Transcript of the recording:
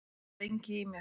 Það sat lengi í mér.